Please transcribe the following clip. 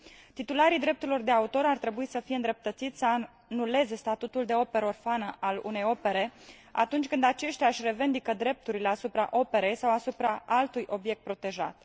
Titularii drepturilor de autor ar trebui să fie îndreptățiți să anuleze statutul de operă orfană al unei opere, atunci când aceștia își revendică drepturile asupra operei sau asupra altui obiect protejat.